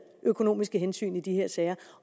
økonomiske hensyn i de her sager